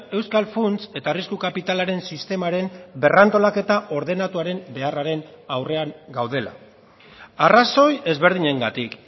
euskal funts eta arrisku kapitalaren sistemaren berrantolaketa ordenatuaren beharraren aurrean gaudela arrazoi ezberdinengatik